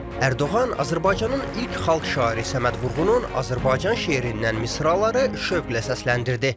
Ərdoğan Azərbaycanın ilk xalq şairi Səməd Vurğunun Azərbaycan şeirindən misraları şövqlə səsləndirdi.